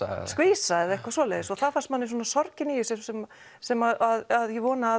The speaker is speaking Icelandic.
skvísa eða eitthvað svoleiðis það fannst manni sorgin í þessu sem sem ég vona að